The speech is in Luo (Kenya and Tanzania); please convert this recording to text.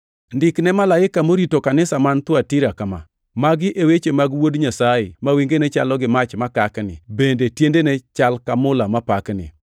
“Ndik ne malaika morito kanisa man Thuatira kama: Magi e weche mag Wuod Nyasaye ma wengene chalo gi mach makakni bende tiendene chal ka mula mapakni.